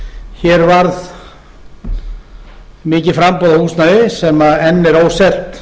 hér varð mikið framboð á húsnæði sem enn er óselt